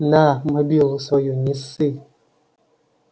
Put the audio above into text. на мобилу свою не ссы